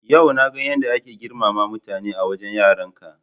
Yau na ga yadda ake girmama mutane a wajen yaranka.